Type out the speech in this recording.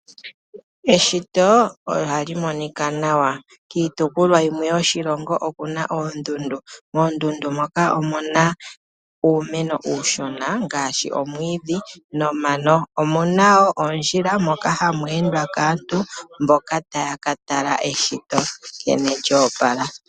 Eshito ohali monika nawa, oshoka olya opalekwa kiishitomwa oyindji. Kiitopolwa yimwe yoshilongo otaku adhika oondundu. Koondudu ohaku kala kwa mena uumeno uushuna ngaashi omwiishi nomano. Ohaku kala wo oondjila, dha totwa ko kaantu mboka ye hole okukatala eyopalo lyeshito.